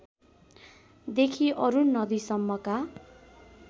देखि अरुण नदीसम्मका